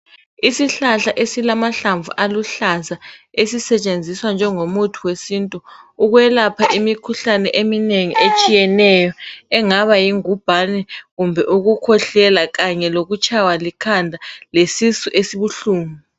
Isihlahla esilamahlamvu aluhlaza esisetshenziswa njengomuthi wesintu ukwelapha imikhuhlane eminengi etshiyeneyo engaba yingubhane kumbe ukukhwehlela kanye lokutshaywa likhanda lesisu esibuhlungu .